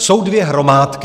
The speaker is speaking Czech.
Jsou dvě hromádky.